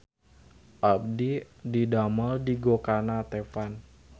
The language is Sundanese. Abdi didamel di Gokana Teppan